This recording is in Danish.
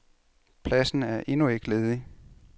Pladsen er endnu ikke ledig.